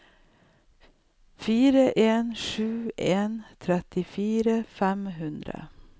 fire en sju en trettifire fem hundre